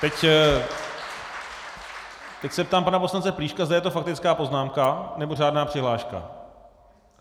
Teď se ptám pana poslance Plíška, zda je to faktická poznámka, nebo řádná přihláška.